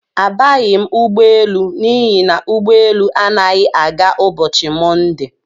Abaghi m ụgbọelu n'ihi na ụgbọ élú anaghị aga ụbọchị Monde.